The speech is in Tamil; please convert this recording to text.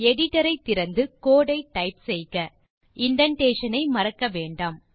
எடிட்டர் ஐ திறந்து கோடு ஐ டைப் செய்க இண்டென்டேஷன் ஐ மறக்க வேண்டாம்